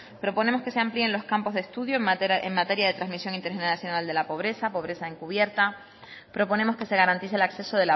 proponemos que se amplíe los campos de estudio en materia de transmisión intergeneracional de la pobreza pobreza encubierta proponemos que se garantice el acceso